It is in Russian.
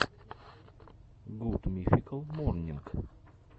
гуд мификал морнинг